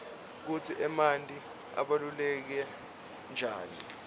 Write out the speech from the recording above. kutsi emanti abaluleke nqani